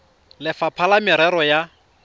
le lefapha la merero ya